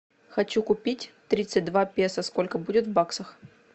хочу купить тридцать два песо сколько будет в баксах